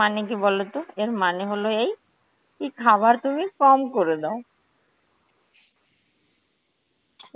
মানে কি বলতো, এর মানে হলো এই, কি খাবার তুমি কম করে দাও.